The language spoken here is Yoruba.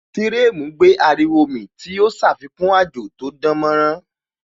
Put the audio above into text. Firemu gbé ariwo mì tí ó ṣàfikún àjò tó dánmọ́nrán